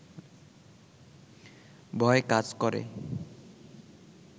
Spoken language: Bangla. ভয় কাজ করে